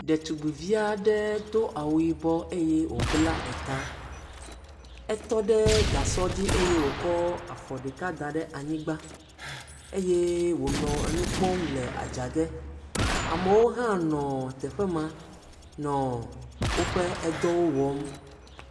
Ɖetugbui vi aɖe do awu yibɔ eye wòbla eta, tɔ ɖe gasɔ dzi eye wòkɔ afɔ ɖeka da ɖe anyigba, eye wònɔ enu kpɔm le adzage, amewo hã nɔ eteƒe ma nɔ woƒe edɔwo wɔm.